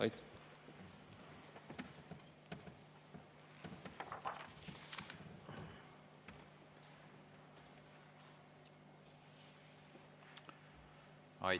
Aitäh!